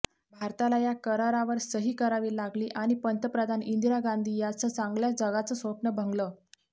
भारताला या करारावर सही करावी लागली आणि पंतप्रधान इंदिरा गांधी यांचं चांगल्या जगाचं स्वप्न भंगलं